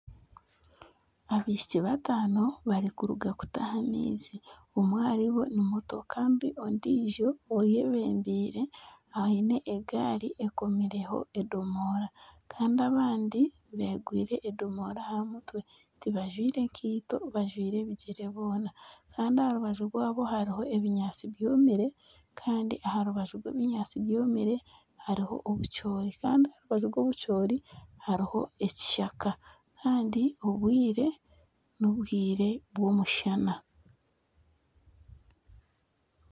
Abaishiki bataano nibaruga kutaaha amaizi kandi omwe ahari bo ni muto kandi ondiijo eyebembiire aine egaari ekomireho edomora kandi abandi beegwire endomora aha mutwe tibajwire nkaito bajwire ebigyere boona kandi aha rubaju rwabo hariho ebinyaatsi byomire kandi aha rubaju rw'obunyatsi bwomire hariho obucoori kandi aha rubaju rw'obucoori hariho ekishaka kandi obwire n'obwire bw'omushana